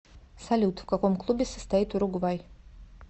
салют в каком клубе состоит уругвай